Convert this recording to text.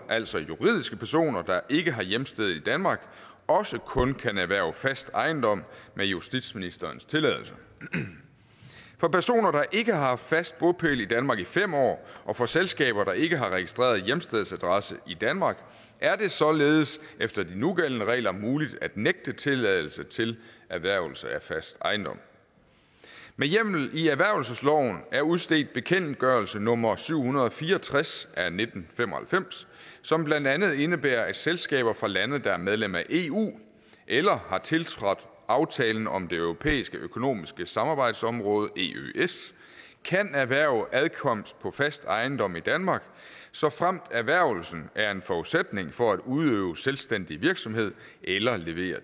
altså juridiske personer der ikke har hjemsted i danmark også kun kan erhverve fast ejendom med justitsministerens tilladelse for personer der ikke har haft fast bopæl i danmark i fem år og for selskaber der ikke har haft registreret hjemstedsadresse i danmark er det således efter de nugældende regler muligt at nægte tilladelse til erhvervelse af fast ejendom med hjemmel i erhvervelsesloven er udstedt bekendtgørelse nummer syv hundrede og fire og tres af nitten fem og halvfems som blandt andet indebærer at selskaber fra lande der er medlem af eu eller har tiltrådt aftalen om det europæiske økonomiske samarbejdsområde eøs kan erhverve adkomst på fast ejendom i danmark såfremt erhvervelsen er en forudsætning for at udøve selvstændig virksomhed eller levere